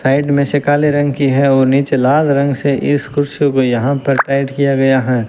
Side में से काले रंग की है और नीचे लाल रंग से इस कुर्सी को यहां पर पेंट किया गया है।